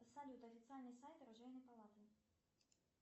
салют официальный сайт оружейной палаты